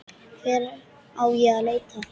Hvar á ég að leita.